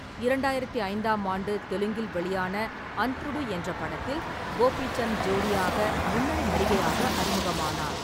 இரண்டாயிரத்து ஐந்தாம் ஆண்டு தெலுங்கில் வெளியான அந்த்ருடு என்ற படத்தில் கோபிசந்த் ஜோடியாக முன்னணி நடிகையாக அறிமுகமானார்.